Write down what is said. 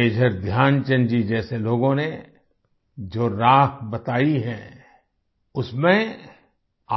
major Dhyanchand ji जैसे लोगों ने जो राह बतायी है उसमें